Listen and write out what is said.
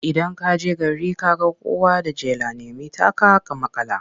Idan ka je gari ka ga kowa da jela, nemi taka ka maƙala.